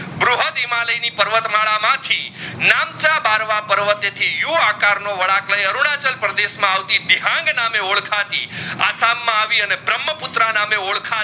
પર્વત માદા મ થી નામચા બરવા પર્વત એ થી યૂ આકાર નો વડાંક લઈ અરુણાચલ પ્રદેશ બિહંગ નામ એ ઓડખાતી અસ્સામ આવી ભ્રમપુત્ર નામ એ ઓડખાતી